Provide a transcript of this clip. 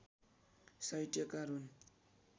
साहित्यकार हुन्